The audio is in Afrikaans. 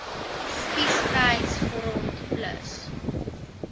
spies vryheids front plus